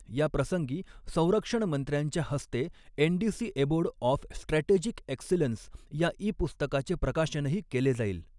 या प्रसंगी संरक्षण मंत्र्यांच्या हस्ते NDC abode of strategic excellence या ई पुस्तकाचे प्रकाशनही केले जाईल.